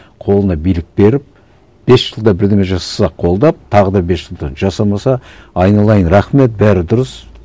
қолына билік беріп бес жылда бірдеңе жасаса қолдап тағы да бес жылға жасамаса айналайын рахмет бәрі дұрыс